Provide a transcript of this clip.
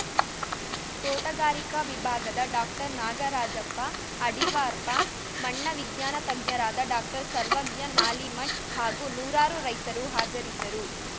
ತೋಟಗಾರಿಕಾ ವಿಭಾಗದ ಡಾಕ್ಟರ್ನಾಗರಾಜಪ್ಪ ಅಡಿರ್ವಾಪ್ಪಾ ಮಣ್ಣ ವಿಜ್ಞಾನತಜ್ಞರಾದ ಡಾಕ್ಟರ್ಸರ್ವಜ್ಞ ನಾಲಿಮಠ್‌ ಹಾಗೂ ನೂರಾರು ರೈತರು ಹಾಜರಿದ್ದರು